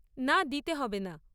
না দিতে হবে না।